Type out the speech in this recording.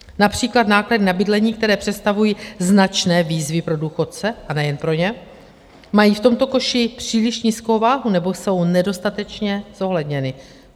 Například náklady na bydlení, které představují značné výzvy pro důchodce, a nejen pro ně, mají v tomto koši příliš nízkou váhu nebo jsou nedostatečně zohledněny.